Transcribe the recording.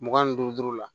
Mugan ni duuru la